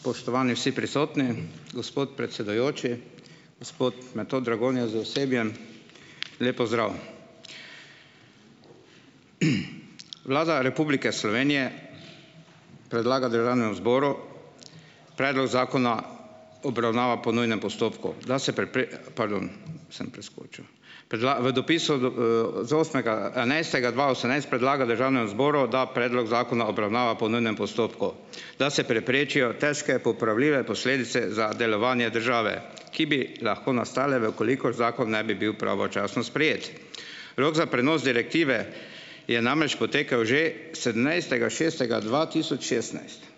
Spoštovani vsi prisotni, gospod predsedujoči, gospod Metod Dragonja z osebjem, lep pozdrav! Vlada Republike Slovenije predlaga državnemu zboru predlog zakona, obravnava po nujnem postopku, da se Pardon, sem preskočil. v dopisu v, z osmega enajstega dva osemnajst predlaga državnemu zboru, da predlog zakona obravnava po nujnem postopku, da se preprečijo težko popravljive posledice za delovanje države, ki bi lahko nastale, v kolikor zakon ne bi bil pravočasno sprejet. Rok za prenos direktive je namreč potekel že sedemnajstega šestega dva tisoč šestnajst.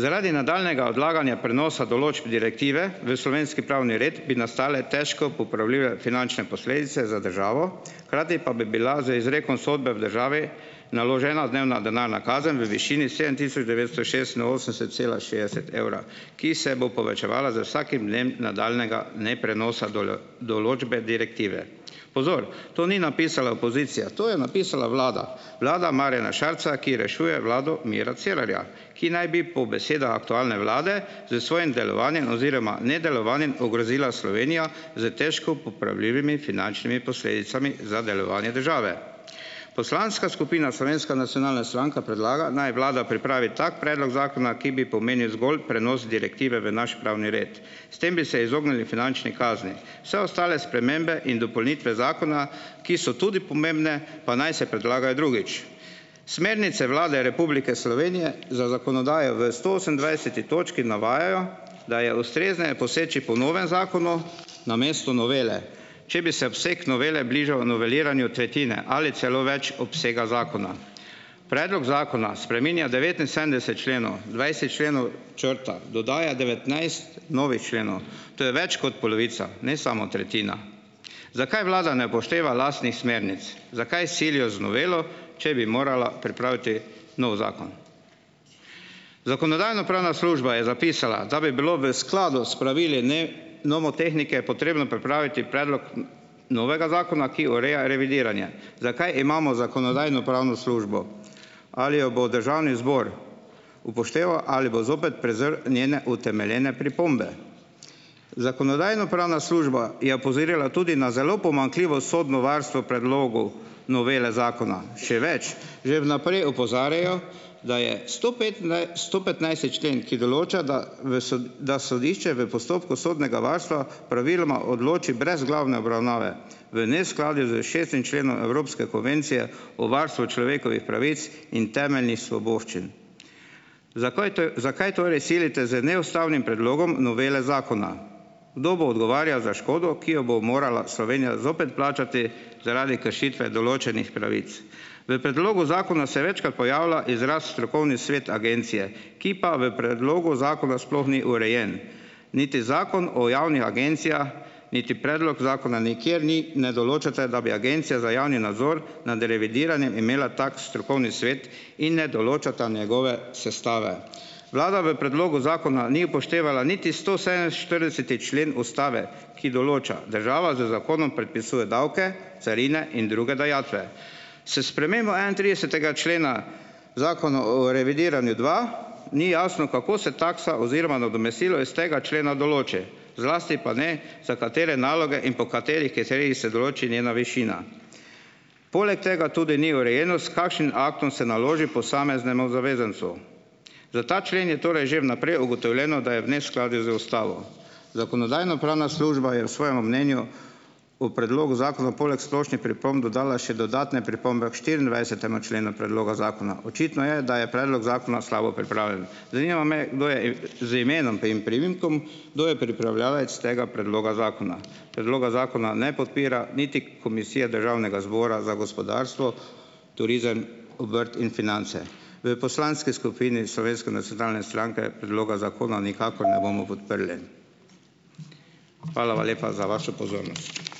Zaradi nadaljnjega odlaganja prenosa določb direktive v slovenski pravni red bi nastale težko popravljive finančne posledice za državo, hkrati pa bi bila z izrekom sodbe v državi naložena dnevna denarna kazen v višini sedem tisoč devetsto šestinosemdeset cela šestdeset evra, ki se bo povečevala z vsakim dnem nadaljnjega neprenosa določbe direktive. Pozor, to ni napisala opozicija, to je napisala vlada. Vlada Marjana Šarca, ki rešuje vlado Mira Cerarja, ki naj bi po besedah aktualne vlade s svojim delovanjem oziroma nedelovanjem ogrozila Slovenijo s težko popravljivimi finančnimi posledicami za delovanje države. Poslanska skupina Slovenska nacionalna stranka predlaga, naj vlada pripravi tak predlog zakona, ki bi pomenil zgolj prenos direktive v naš pravni red. S tem bi se izognili finančni kazni, vse ostale spremembe in dopolnitve zakona, ki so tudi pomembne, pa naj se predlagajo drugič. Smernice Vlade Republike Slovenije za zakonodajo v stoosemindvajseti točki navajajo, da je ustrezneje poseči po novem zakonu namesto novele, če bi se obseg novele bližal noveliranju tretjine ali celo več obsega zakona. Predlog zakona spreminja devetinsedemdeset členov, dvajset členov črta, dodaja devetnajst novih členov. To je več kot polovica, ne samo tretjina. Zakaj vlada ne upošteva lastnih smernic, zakaj silijo z novelo, če bi morala pripraviti novi zakon. Zakonodajno-pravna služba je zapisala, da bi bilo v skladu s pravili, ne, nomotehnike potrebno pripraviti predlog novega zakona, ki ureja revidiranje. Zakaj imamo Zakonodajno-pravno službo? Ali jo bo državni zbor upošteval ali bo zopet prezrl njene utemeljene pripombe. Zakonodajno-pravna služba je opozorila tudi na zelo pomanjkljivo sodno varstvo predlogov novele zakona. Še več, že vnaprej opozarjajo, da je stopetnajsti člen, ki določa, da v da sodišče v postopku sodnega varstva praviloma odloči brez glavne obravnave v neskladju s šestim členom evropske konvencije o varstvu človekovih pravic in temeljnih svoboščin. Zakaj zakaj torej silite z neustavnim predlogom novele zakona? Kdo bo odgovarjal za škodo, ki jo bo morala Slovenija zopet plačati zaradi kršitve določenih pravic? V predlogu zakona se večkrat pojavlja izraz strokovni svet agencije, ki pa v predlogu zakona sploh ni urejen niti Zakon o javni agenciji niti predlog zakona, nikjer ni, ne določate, da bi Agencija za javni nadzor nad revidiranjem imela tak strokovni svet, in ne določata njegove sestave. Vlada v predlogu zakona ni upoštevala niti stosedeminštirideseti člen ustave, ki določa: "Država z zakonom predpisuje davke, carine in druge dajatve." S spremembo enaintridesetega člena Zakona o revidiranju, dva, ni jasno, kako se taksa oziroma nadomestilo iz tega člena določi, zlasti pa ne, za katere naloge in po katerih kriterijih se določi njena višina. Poleg tega tudi ni urejeno, s kakšnim aktom se naloži posameznemu zavezancu. Za ta člen je torej že vnaprej ugotovljeno, da je v neskladju z ustavo. Zakonodajno-pravna služba je v svojem mnenju o predlogu zakona poleg splošnih pripomb dodala še dodatne pripombe k štiriindvajsetemu členu predloga zakona. Očitno je, da je predlog zakona slabo pripravljen. Zanima me, kdo je - z imenom in priimkom -, kdo je pripravljavec tega predloga zakona. Predloga zakona ne podpira niti Komisija Državnega zbora za gospodarstvo, turizem, obrt in finance. V poslanski skupini Slovenske nacionalne stranke predloga zakona nikakor ne bomo podprli. Hvala lepa za vašo pozornost.